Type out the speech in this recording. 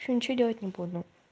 ещё ничего делать не буду